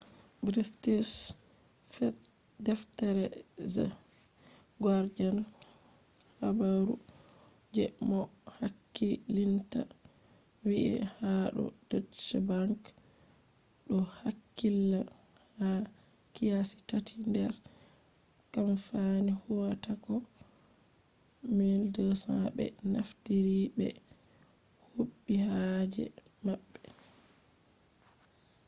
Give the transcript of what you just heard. british deftere the guardian habaru je moh hakkilinta vi'i ha do deutsche bank do hakkilla ha kiyasi tati nder kamfani huwatako 1200 be naftiri ɓe huɓi haaje maɓɓe